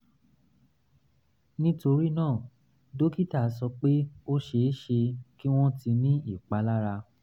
nítorí náà dókítà sọ pé ó ṣe é ṣe kí wọ́n ti ní ìpalára